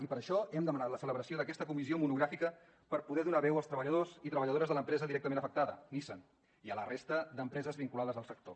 i per això hem demanat la celebració d’aquesta comissió monogràfica per poder donar veu als treballadors i treballadores de l’empresa directament afectada nissan i a la resta d’empreses vinculades al sector